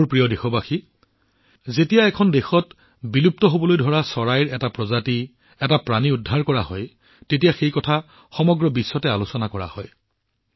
মোৰ মৰমৰ দেশবাসীসকল যেতিয়া এখন দেশত বিলুপ্ত হৈ যোৱা চৰাইৰ এটা প্ৰজাতি জীৱ ৰক্ষা কৰা হয় ইয়াক সমগ্ৰ বিশ্বতে আলোচনা কৰা হয়